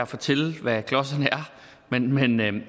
fortælle hvad klodserne er